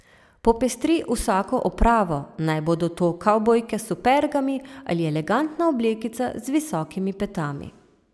Popestri vsako opravo, naj bodo to kavbojke s supergami ali elegantna oblekica z visokimi petami.